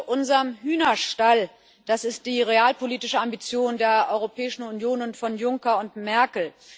Friede unserem Hühnerstall das ist die realpolitische Ambition der Europäischen Union und von Juncker und Merkel.